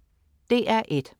DR1: